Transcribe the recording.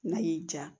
N'a y'i ja